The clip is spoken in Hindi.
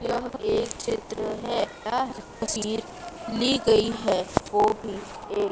यह एक चित्र है यह तस्वीर ली गई है वो भी एक--